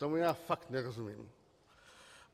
Tomu já fakt nerozumím.